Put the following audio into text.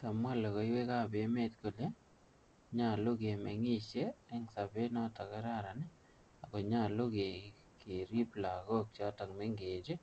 Kamwa lokoiwekab emet kole nyolu kemengishen en sobet nekararan ako nyolu kerib lagok chemengech ii